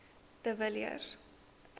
de villiers